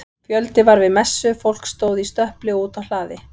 Fjöldi var við messu, fólk stóð í stöpli og úti á hlaði.